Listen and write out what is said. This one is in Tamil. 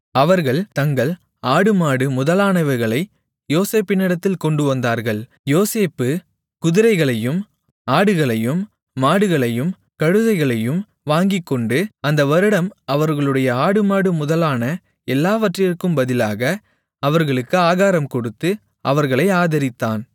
அவர்கள் தங்கள் ஆடுமாடு முதலானவைகளை யோசேப்பினிடத்தில் கொண்டுவந்தார்கள் யோசேப்பு குதிரைகளையும் ஆடுகளையும் மாடுகளையும் கழுதைகளையும் வாங்கிக்கொண்டு அந்த வருடம் அவர்களுடைய ஆடுமாடு முதலான எல்லாவற்றிற்கும் பதிலாக அவர்களுக்கு ஆகாரம் கொடுத்து அவர்களை ஆதரித்தான்